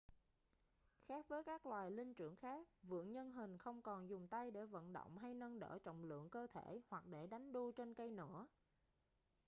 khác với các loài linh trưởng khác vượn nhân hình không còn dùng tay để vận động hay nâng đỡ trọng lượng cơ thể hoặc để đánh đu trên cây nữa